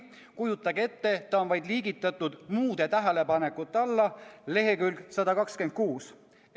Kujutage ette, see on liigitatud muude tähelepanekute alla leheküljel 126.